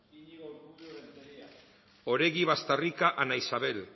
oregi bastarrika ana isabel